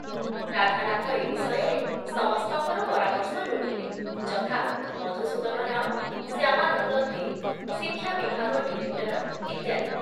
ରାଧାନାଥ ଏ ବିଷୟରେ ସମସ୍ତଙ୍କର ପରାମର୍ଶ ଲୋଡ଼ିଲେ, ଯଥା ମଧୁସୂଦନ ରାଓ, ଶ୍ୟାମାନନ୍ଦ ଦେ, ଶିକ୍ଷା ବିଭାଗ ଡିରେକ୍ଟର ଇତ୍ୟାଦି ।